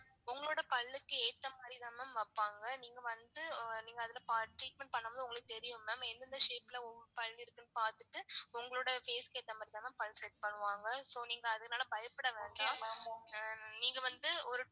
உங்களோட பல்லுக்கு ஏத்த மாதிரி தான் mam வெப்பாங்க நீங்க வந்து நீங்க அதுல treatment பண்ணும் போது உங்களுக்கு தெரியும் ma'am எந்தெந்த shape ல உங்க பல்லு இருக்கு னு பாத்துட்டு உங்களோட face க்கு ஏத்த மாதிரி தான் ma'am பல் set பண்ணுவாங்க so நீங்க அதுனால பயப்பட வேண்டாம் நீங்க வந்து ஒரு.